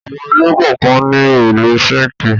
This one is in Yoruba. Àwọn ilé kọ̀ọ̀kan ní òrùlé síńkì.